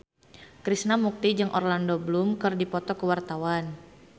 Krishna Mukti jeung Orlando Bloom keur dipoto ku wartawan